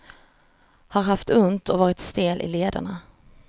Har haft ont och varit stel i lederna.